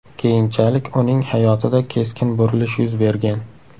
Keyinchalik uning hayotida keskin burilish yuz bergan.